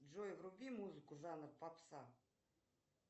джой вруби музыку жанр попса